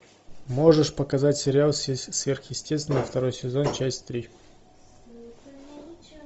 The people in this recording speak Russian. можешь показать сериал сверхъестественное второй сезон часть три